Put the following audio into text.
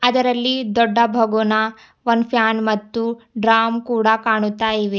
ಅದರಲ್ಲಿ ದೊಡ್ಡ ಬಗುನಾ ಒನ್ ಫ್ಯಾನ್ ಮತ್ತು ಡ್ರಾಮ್ ಕೂಡ ಕಾಣುತ್ತಾ ಇವೆ.